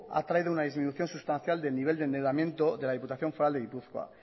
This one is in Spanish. ha traído una disminución sustancial del nivel de endeudamiento de la diputación foral de gipuzkoa